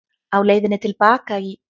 Á leiðinni til baka í